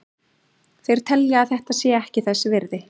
Þeir telja að þetta sé ekki þess virði.